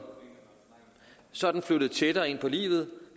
sådan tættere ind på livet